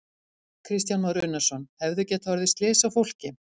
Kristján Már Unnarsson: Hefðu getað orðið slys á fólki?